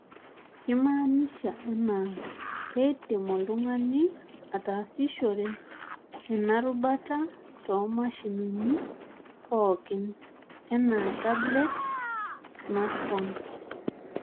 Keimaanisha enaa, keidim oltung'ani atasishore ena rubata too nmashinini pookin , aah tablet, smartphone.